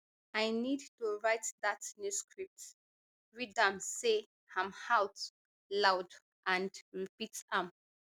i need to write dat new script read am say am out loud and repeat am